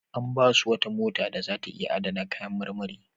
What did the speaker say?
An ba su wata mota da za ta iya adana kayan marmari.